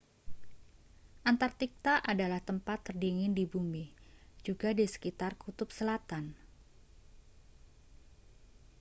antarktika adalah tempat terdingin di bumi juga di sekitar kutub selatan